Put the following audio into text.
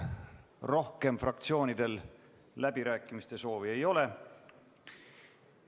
Rohkem fraktsioonidel läbirääkimiste soovi ei ole.